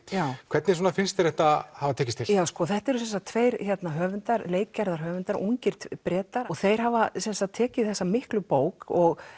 hvernig finnst þér þetta hafa tekist til já þetta eru sem sagt tveir höfundar ungir Bretar og þeir hafa sem sagt tekið þessa miklu bók og